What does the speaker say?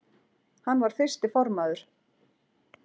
Hann var fyrsti formaður